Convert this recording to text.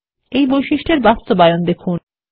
এর বাস্তবায়ন দেখুন